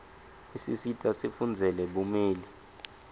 isisita sifundzele bumeli